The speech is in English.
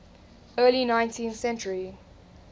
early nineteenth century